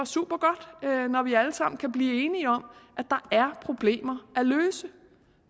supergodt når vi alle sammen kan blive enige om at der er problemer at løse